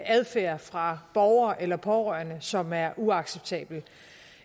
adfærd fra borgere eller pårørende som er uacceptabel